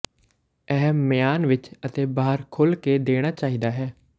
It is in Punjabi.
ਇਹ ਮਿਆਨ ਵਿੱਚ ਅਤੇ ਬਾਹਰ ਖੁੱਲ੍ਹ ਕੇ ਦੇਣਾ ਚਾਹੀਦਾ ਹੈ